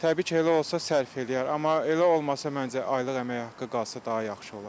Təbii ki, elə olsa sərf eləyər, amma elə olmasa məncə aylıq əmək haqqı qalsa daha yaxşı olar.